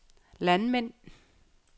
landmænd